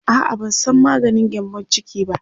a'a ban San maganin gyambun ciki ba